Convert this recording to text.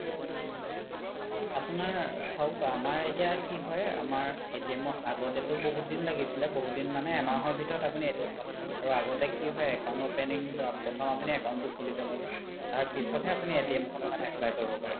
আপোনাৰ চাওক আমাৰ এতিয়া কি হয় আগতেতো বহুত দিন লাগিছিলে বহুত দিন মানে এহমাহ ভিতৰত আপোনি আৰু আগতে কি হয় account opening প্ৰথম আপোনি account তো খুলিব লাগে তাৰ পিছত হে আপোনি খন apply কৰিব পাৰে